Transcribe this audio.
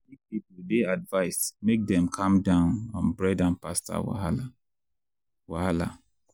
big people dey advised make dem calm down on bread and pasta wahala. wahala.